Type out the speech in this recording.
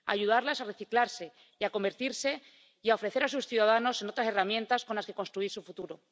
Ayudarlas a reciclarse y a convertirse y a ofrecer a sus ciudadanos otras herramientas con las que construir su futuro.